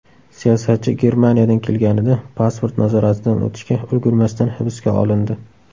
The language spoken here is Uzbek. Siyosatchi Germaniyadan kelganida pasport nazoratidan o‘tishga ulgurmasdan hibsga olindi .